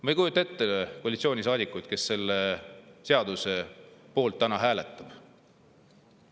Ma ei kujuta ette koalitsioonisaadikuid, kes selle seaduse poolt täna hääletavad.